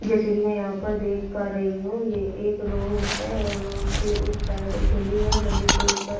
जैसे कि मै यहां पर देख पा रही हूं ये एक रोड है और रोड के उस साइड एक गली है। गली के ऊपर --